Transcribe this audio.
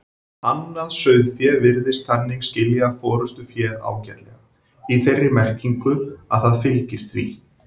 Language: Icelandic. Annað sauðfé virðist þannig skilja forystuféð ágætlega, í þeirri merkingu að það fylgir því.